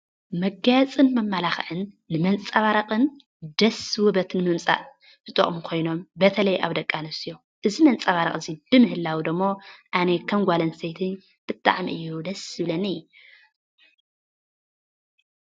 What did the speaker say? መጋየፅን መመላክዕን ንመንፀባረቕን ደስ ውበት ንምምፃእ ዝጠቕሙ ኮይኖም ብተለይ ኣብ ደቂ ኣንስትዮ እዚ መንፀባረቒ እዚ ብምህላዉ ደሞ ኣነ ከም ጓል ኣንስተይቲ ብጣዕሚ እዩ ደስ ዝብለኒ።